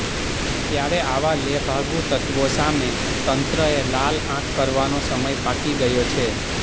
ત્યારે આવા લેભાગુ તત્ત્વો સામે તંત્રએ લાલ આંખ કરવાનો સમય પાકી ગયો છે